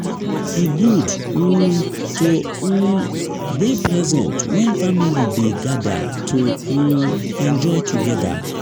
e good to um to um dey present when family dey gather to um enjoy together.